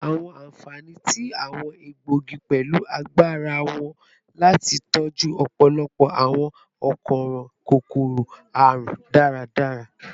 Awọn anfani ti awọn egboogi pẹlu agbara wọn lati tọju ọpọlọpọ awọn akoran kokoro-arun daradara